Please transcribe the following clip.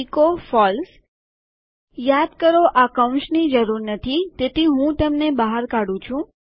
echo falseયાદ કરો આ કૌંસની જરૂર નથી તેથી હું તેમને બહાર કાઢું છું